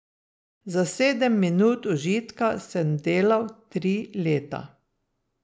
Za sedem minut užitka sem delal tri leta.